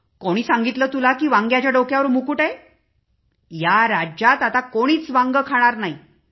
कोणी सांगितले तुला की वांग्याच्या डोक्यावर मुकुट आहे या राज्यात आता कोणीच वांगे खाणार नाही